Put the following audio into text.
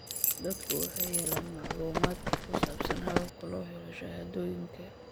Dadku waxay helayaan macluumaadka ku saabsan hababka loo helo shahaadooyinka.